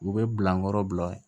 U bɛ bila nɔrɔ bila